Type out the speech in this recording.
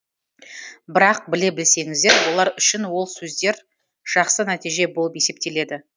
бірақ біле білсеңіздер олар үшін ол сөздер жақсы нәтиже болып есептеледі